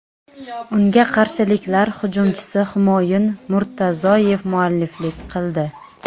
Unga qarshiliklar hujumchisi Humoyun Murtazoyev mualliflik qildi.